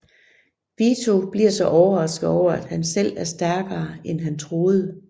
Vito bliver så overrasket over at han selv er stærkere end han troede